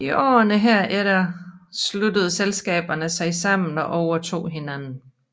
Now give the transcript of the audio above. I årene herefter sluttede selskaberne sig sammen og overtog hinanden